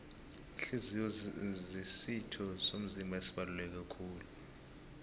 ihliziyo zisitho somzimba esibaluleke kulu